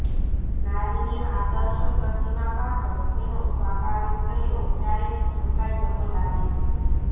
નારીની આદર્શ પ્રતિમા પાછળ એનો સ્વાભાવિક ચહેરો ક્યારેક ઢંકાઈ જતો લાગે છે